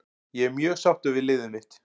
Ég er mjög sáttur við liðið mitt.